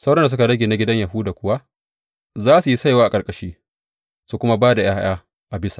Sauran da suka rage na gidan Yahuda kuwa za su yi saiwa a ƙarƙashi su kuma ba da ’ya’ya a bisa.